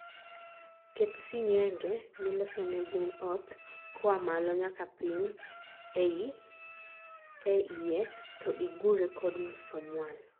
ket singenge(miloso ne gwen ot) koa malo nyaka piny e ie to igure kod msumwal